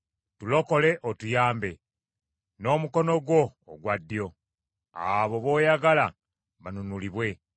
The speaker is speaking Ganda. Tulokole otuyambe n’omukono gwo ogwa ddyo, abo booyagala banunulibwe.